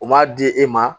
U m'a di e ma